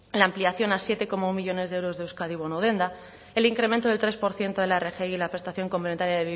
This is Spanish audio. la ampliación a siete coma uno millónes de euros de euskadi bono denda el incremento del tres por ciento de la rgi y la prestación complementaria